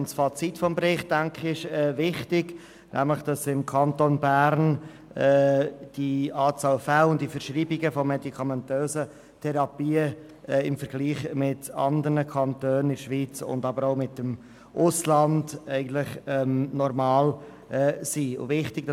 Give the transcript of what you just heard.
Ich denke, das Fazit des Berichts ist wichtig, nämlich, dass im Kanton Bern die Anzahl Fälle und die Verschreibungen von medikamentösen Therapien im Vergleich zu anderen Kantonen, aber auch zum Ausland normal sind.